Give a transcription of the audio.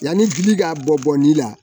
Yanni bi ka bɔ bɔnni la